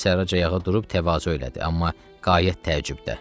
Yusif Sərrac ayağa durub təvazö elədi, amma qayət təəccübdə.